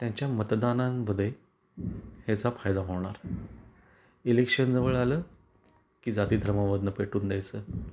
त्यांच्या मतदानांन मध्ये याचा फायदा होणार इलेक्शन जवळ आलं की जाती धर्मावरून पेटून द्यायच.